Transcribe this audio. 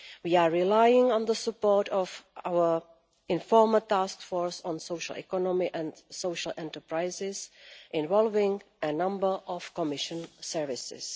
We are relying on the support of our informal task force on social economy and social enterprises, involving a number of Commission services.